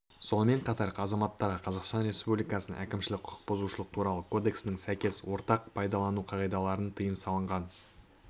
сонымен қатар азаматтарға қазақстан республикасының әкімшілік құқықбұзушылық туралы кодексінің сәйкес ортақ су пайдалану қағидаларын тыйым салынған